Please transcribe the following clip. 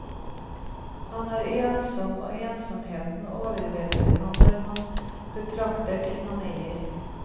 Han er ensom, og ensomheten overvelder ham når han betrakter ting han eier.